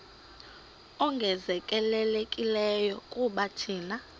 ongezelelekileyo kuba thina